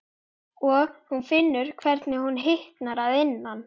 Og hún finnur hvernig hún hitnar að innan.